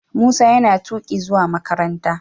Musa yana tuki zuwa makaranta.